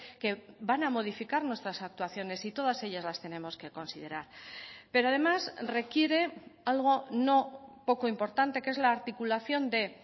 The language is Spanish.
que van a modificar nuestras actuaciones y todas ellas las tenemos que considerar pero además requiere algo no poco importante que es la articulación de